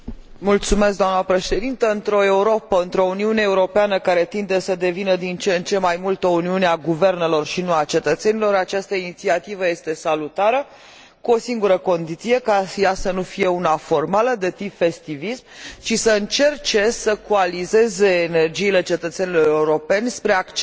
Într o Europă, într o Uniune Europeană care tinde să devină din ce în ce mai mult o uniune a guvernelor, și nu a cetățenilor, această inițiativă este salutară, cu o singură condiție ca ea să nu fie una formală, de tip festivist, ci să încerce să coalizeze energiile cetățenilor europeni spre acceptarea unei